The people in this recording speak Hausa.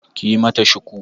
Ki yi mata shuku!